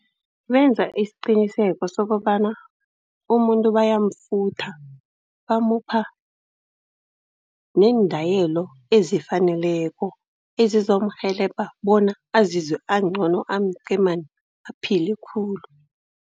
Benza isiqiniseko sokobana umuntu bayamfutha, bamupha neendayelo ezifaneleko, ezizomrhelebha bona azizwe angcono, amqemani, aphile khulu.